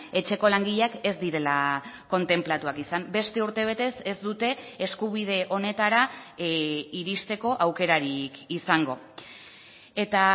etxeko langileak ez direla kontenplatuak izan beste urtebetez ez dute eskubide honetara iristeko aukerarik izango eta